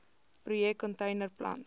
projek container plant